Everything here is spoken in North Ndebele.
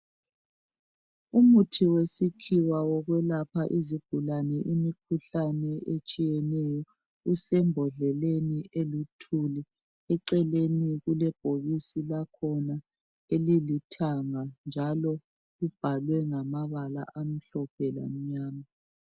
Umuthi wesikhiwa wokuyelapha imikhuhlane etshiyeneyo usembodleleni olithuli eceleni kulebhokisi lakhona elilithuli njalo libhalwe ngamabala amhlophe lamnyama